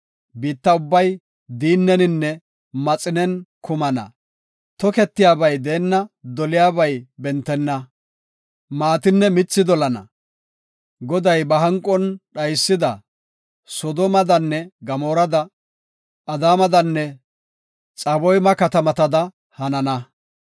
Biitta ubbay diinneninne maxinen kumana; toketiyabay deenna; doliyabay bentenna; maatinne mithi dolenna. Goday ba hanqon dhaysida Soodomadanne Gamoorada, Adaamadanne Xaboyma katamatada hanana.